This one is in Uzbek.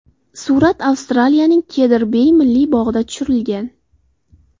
Surat Avstraliyaning Kedr-Bey milliy bog‘ida tushirilgan.